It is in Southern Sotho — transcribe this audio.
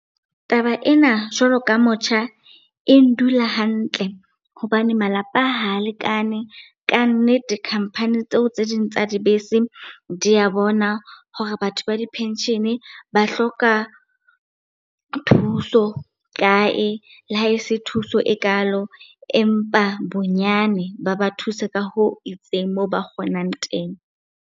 Taba ena jwalo ka motjha e ndula hantle hobane malapa ha lekane, kannete khampani tseo tse ding tsa dibese di ya bona hore batho ba di-pension-e ba hloka thuso kae. Le ha e se thuso ekalo, empa bonyane ba ba thuse ka hoo itseng moo ba kgonang teng.